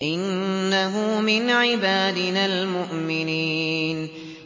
إِنَّهُ مِنْ عِبَادِنَا الْمُؤْمِنِينَ